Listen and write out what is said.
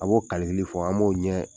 A' b'o fɔ an b'o ɲɛ